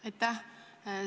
Aitäh!